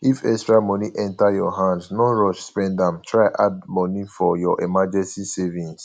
if extra money enter your hand no rush spend am try add money for your emrrgency savings